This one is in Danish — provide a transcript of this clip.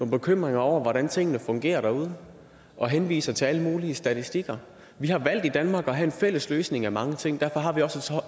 bekymringer over hvordan tingene fungerer derude og henviser til alle mulige statistikker vi har valgt i danmark at have en fælles løsning af mange ting derfor har vi også